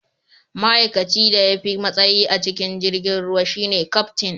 ma'aikacin da ya fi matsayi a cikin jirgin ruwan shi ne Kaftin